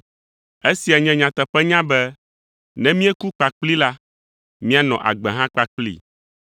Esia nye nyateƒenya be, “Ne míeku kpakplii la, míanɔ agbe hã kpakplii;